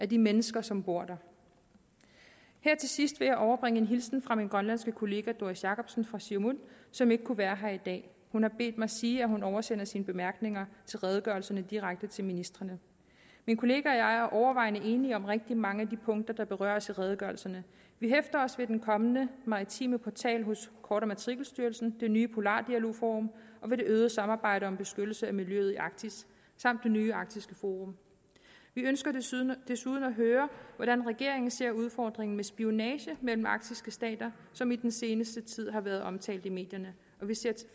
de mennesker som bor der her til sidst vil jeg overbringe en hilsen fra min grønlandske kollega fru doris jakobsen som ikke kunne være her i dag hun har bedt mig sige at hun oversender sine bemærkninger til redegørelserne direkte til ministrene min kollega og jeg er overvejende enige om rigtig mange af de punkter der berøres i redegørelserne vi hæfter os ved den kommende maritime portal hos kort matrikelstyrelsen det nye polardialogforum og ved det øgede samarbejde om beskyttelse af miljøet i arktis samt det nye arktiske forum vi ønsker desuden desuden at høre hvordan regeringen ser udfordringen med spionage imellem arktiske stater som i den seneste tid har været omtalt i medierne og vi ser